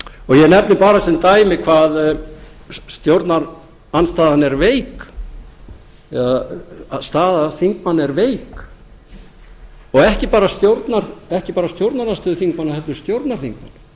og ég nefni bara sem dæmi hvað stjórnarandstaðan er veik eða staða þingmanna er veik og ekki bara stjórnarandstöðuþingmanna heldur stjórnarþingmanna